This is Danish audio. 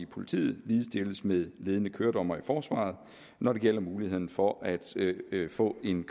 politiet ligestilles med ledende køredommere i forsvaret når det gælder muligheden for at få en